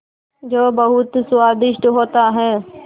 जो बहुत स्वादिष्ट होता है